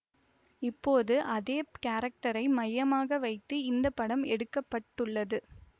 இப்போது அதே கேரக்டரை மையமாக வைத்து இந்த படம் எடுக்க பட்டுள்ளது